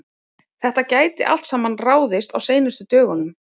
Þetta gæti allt saman ráðist á seinustu dögunum.